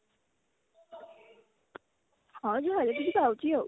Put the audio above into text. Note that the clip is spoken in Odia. ହଁ ପାଉଛି ଆଉ